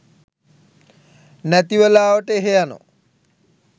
නැති වෙලාවට එහෙ යනවා